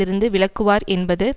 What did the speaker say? இருந்து விலக்குவார் என்பது